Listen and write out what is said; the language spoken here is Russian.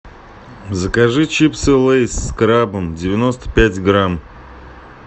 закажи чипсы лейс с крабом девяносто пять грамм